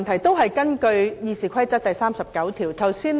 主席，我根據《議事規則》第39條提出規程問題。